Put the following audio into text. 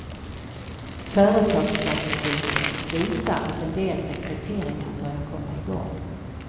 Företagsstatistiken visar att en del rekryteringar börjar komma igång.